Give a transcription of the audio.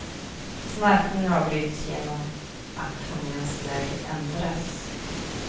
Snarkning avbryts genom att tungans läge ändras.